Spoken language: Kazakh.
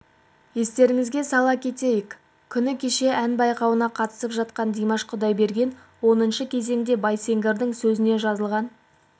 естеріңізге сала кетейік күні кеше ән байқауына қатысып жатқан димаш құдайберген оныншы кезеңде байсеңгірдің сөзіне жазылған